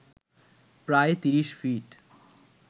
প্রায় ৩০ ফিট